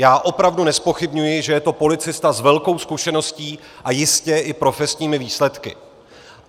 Já opravdu nezpochybňuji, že je to policista s velkou zkušeností a jistě i profesními výsledky.